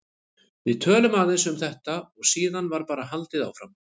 Við töluðum aðeins um þetta og síðan var bara haldið áfram.